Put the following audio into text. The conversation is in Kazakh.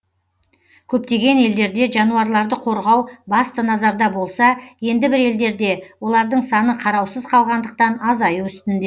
көптеген елдерде жануарларды қорғау басты назарда болса енді бір елдерде олардың саны қараусыз қалғандықтан азаю үстінде